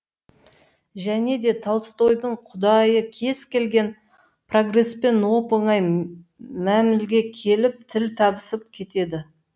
және де толстойдың құдайы кез келген прогреспен оп оңай мәмілеге келіп тіл табысып кетеді